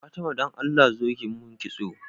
Fatima dan allah zo ki mun kitso